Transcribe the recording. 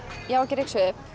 ég á ekki að ryksuga upp